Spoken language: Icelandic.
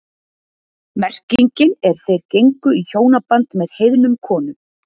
Merkingin er þeir gengu í hjónaband með heiðnum konum.